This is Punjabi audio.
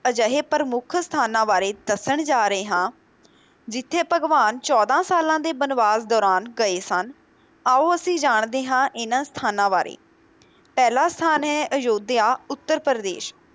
ਅਜਿਹੇ ਪ੍ਰਮੁੱਖ ਸਥਾਨਾਂ ਬਾਰੇ ਦੱਸਣ ਜਾ ਰਹੇ ਹਾਂ, ਜਿੱਥੇ ਭਗਵਾਨ ਚੌਦਾਂ ਸਾਲਾਂ ਦੇ ਬਨਵਾਸ ਦੌਰਾਨ ਗਏ ਸਨ, ਆਓ ਅਸੀਂ ਜਾਣਦੇ ਹਾਂ ਇਹਨਾਂ ਸਥਾਨਾਂ ਬਾਰੇ, ਪਹਿਲਾ ਸਥਾਨ ਹੈ ਅਯੋਧਿਆ ਉੱਤਰ ਪ੍ਰਦੇਸ਼